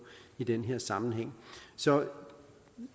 i den her sammenhæng så